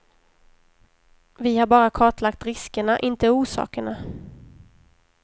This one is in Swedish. Vi har bara kartlagt riskerna inte orsakerna.